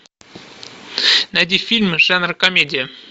найди фильмы жанра комедия